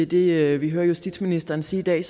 det vi hørte justitsministeren sige i dag